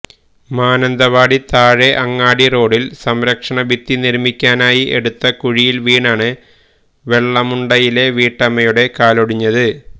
മാനന്തവാടി താഴെ അങ്ങാടി റോഡില് സംരക്ഷണഭിത്തി നിര്മിക്കാനായി എടുത്ത കുഴിയില് വീണാണ് വെള്ളമുണ്ടയിലെ വീട്ടമ്മയുടെ കാലൊടിഞ്ഞത്